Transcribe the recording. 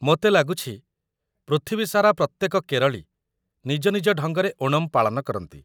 ମୋତେ ଲାଗୁଛି ପୃଥିବୀସାରା ପ୍ରତ୍ୟେକ କେରଳୀ ନିଜ ନିଜ ଢଙ୍ଗରେ ଓଣମ୍ ପାଳନ କରନ୍ତି ।